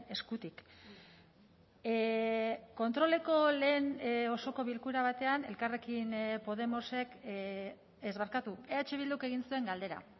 eskutik kontroleko lehen osoko bilkura batean elkarrekin podemosek ez barkatu eh bilduk egin zuen galdera